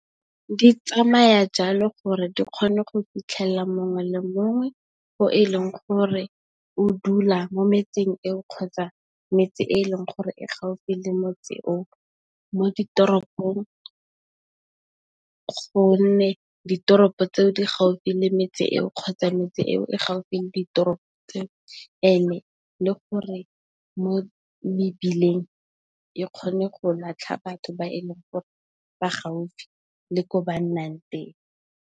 Di tsamaya jalo gore di kgone go fitlhelela mongwe le mongwe yo e leng gore o dula mo metsing eo, kgotsa metsi e leng gore e gaufi le motse o mo ditoropong. Gonne, ditoropo tseo di gaufi le metsi eo, kgotsa metse eo e gaufi le ditoropo tseo le gore mo mebileng e kgone go latlha batho ba e leng gore ba gaufi le ko ba nnang.